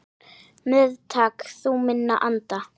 Meðtak þú minn anda.